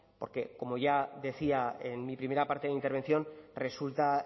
porque como ya decía en mi primera parte de intervención resulta